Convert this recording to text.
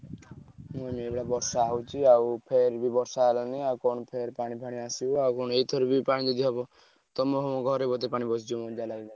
ହୁଁ ନହେଲେ ବର୍ଷା ହଉଛି ଆଉ ଫେରେ ବି ବର୍ଷା ହେଲାଣି ଆଉ କଣ ଫେରେ ପାଣି ଫାଣି ଆସିବ ଆଉ କଣ ଏଇଥର ବି ପାଣି ଯଦି ହବ ତମ ଘରେ ବୋଧେ ପାଣି ପଶିଯିବ ମତେ ଯାହା ଲାଗିଲାଣି।